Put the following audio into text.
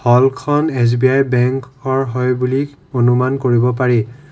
হলখন SBI বেংকৰ হৈ বুলি অনুমান কৰিব পাৰি।